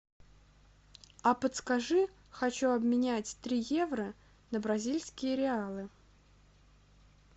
а подскажи хочу обменять три евро на бразильские реалы